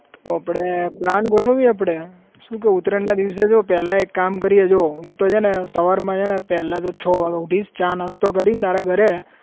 આપડે plan ગોઠવીએ આપડે. શું કહેવું? ઉતરાયણના દિવસે જો પેલા એક કામ કરીએ જો હું તો છેને સવારમાં છેને પેલા તો છ વાગે ઉઠીસ ચા નાસ્તો કરીન તારા ઘરે